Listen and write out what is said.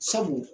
Sabu